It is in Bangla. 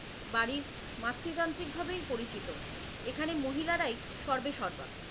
বাড়ি মাতৃতান্ত্রিক ভাবেই পরিচিত এখানে মহিলারাই সর্বেসর্বা।